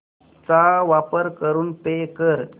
चा वापर करून पे कर